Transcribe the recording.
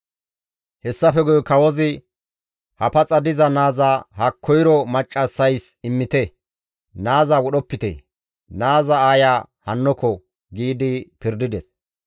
Hessafe guye kawozi, «Ha paxa diza naaza ha koyro maccassays immite; naaza wodhopite; naaza aaya hannoko!» giidi pirdides.